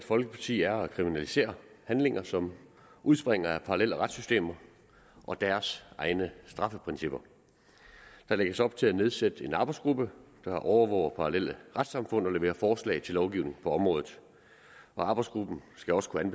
folkeparti er at kriminalisere handlinger som udspringer af parallelle retssystemer og deres egne straffeprincipper der lægges op til at nedsætte en arbejdsgruppe der overvåger parallelle retssamfund og leverer forslag til lovgivning på området og arbejdsgruppen skal også kunne